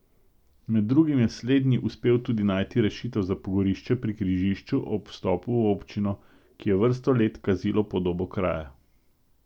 Med drugim je slednji uspel tudi najti rešitev za pogorišče pri križišču ob vstopu v občino, ki je vrsto let kazilo podobo kraja.